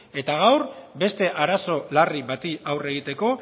eta gaur beste arazo larri bati aurre egiteko